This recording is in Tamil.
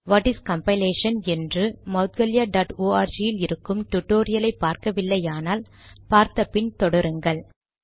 வாட் இஸ் கம்பைலேஷன் என்று மௌட்கல்யா டாட் ஆர்க் யில் இருக்கும் டுடோரியலை பார்க்கவில்லையானால் பார்த்தபின் தொடருங்கள்